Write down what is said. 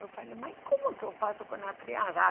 Eu falei, mas como que eu faço com a criança?